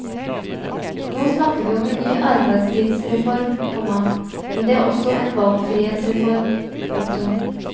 Nå snakker vi om en ny arbeidstidsreform, komma men det er også en valgfrihetsreform. punktum